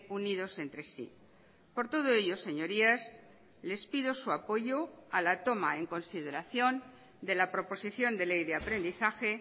unidos entre sí por todo ello señorías les pido su apoyo a la toma en consideración de la proposición de ley de aprendizaje